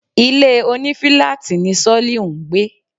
Ilé òní filaati ni Soliu ń gbé